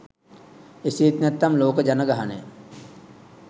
එසේත් නැත්නම් ලෝක ජනගහනය